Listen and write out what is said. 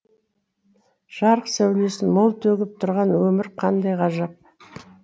жарық сәулесін мол төгіп тұрған өмір қандай ғажап